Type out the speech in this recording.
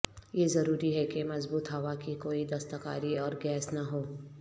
یہ ضروری ہے کہ مضبوط ہوا کی کوئی دستکاری اور گیس نہ ہو